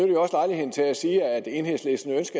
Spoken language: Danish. jo også lejligheden til at sige at enhedslistens